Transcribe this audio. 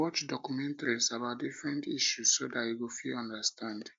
watch documentaries about different issues so dat you go fit understand